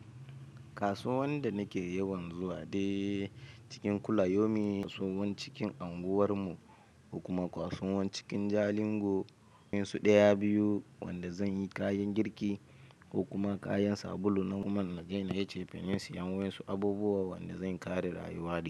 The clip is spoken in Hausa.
Kasuwan da nake yawan zuwa de cikin kula yomi, kasuwan cikin anguwar mu, kuma kasuwan cikin Jalingo. Waƴansu ɗaya biyu wanda zan yi kayan girki, kokuma kayan sabulu na guman naje nayi cefane, waƴansu abubuwa wanda zan kare rayuwa.